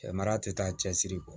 Mara tɛ taa cɛsiri kɔ